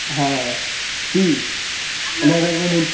आह ती. नगर मधून